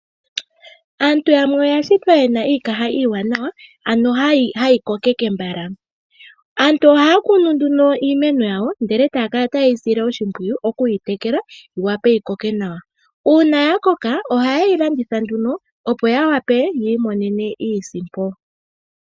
Aantu yamwe oya shitwa yena iikaha iiwanawa, ano hayi kokeke mbala. Aantu ohaya kunu nduno iimeno yawo ndele taya kala taye yi sile oshimpwiyu, oku yi tekela yi wape yi koke nawa. Uuna ya koka ohaye yi landitha nduno opo ya wape yi imonene iisimpo.